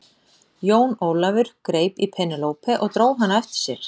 Jón Ólafur greip í Penélope og dró hana á eftir sér.